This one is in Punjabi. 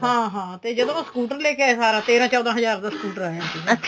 ਹਾਂ ਹਾਂ ਤੇ ਜਦੋਂ ਉਹ scooter ਲੈਕੇ ਆਏ ਸਾਰਾ ਤੇਰਾ ਚੋਦਾਂ ਹਜਾਰ ਦਾ scooter ਆਇਆ ਸੀ